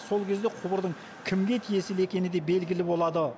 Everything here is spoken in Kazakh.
сол кезде құбырдың кімге тиесілі екені де белгілі болады